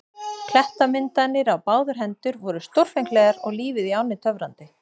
Klettamyndanir á báðar hendur voru stórfenglegar og lífið í ánni töfrandi.